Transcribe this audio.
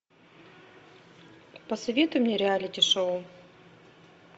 посоветуй мне реалити шоу